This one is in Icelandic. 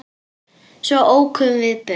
Svo ókum við burt.